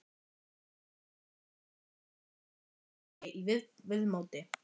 Raunar ákaflega viðkunnanlegur og heillandi í viðmóti.